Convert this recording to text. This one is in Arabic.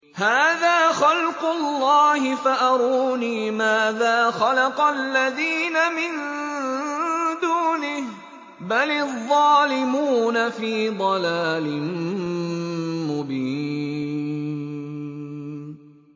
هَٰذَا خَلْقُ اللَّهِ فَأَرُونِي مَاذَا خَلَقَ الَّذِينَ مِن دُونِهِ ۚ بَلِ الظَّالِمُونَ فِي ضَلَالٍ مُّبِينٍ